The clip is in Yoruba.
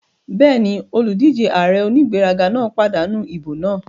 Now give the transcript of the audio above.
Bẹ́ẹ̀ni, olùdíjé ààrẹ onígbéraga náà pàdánù ìbò náà